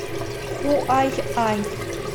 хуайань